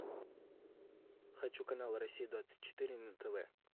хочу канал россия двадцать четыре на тв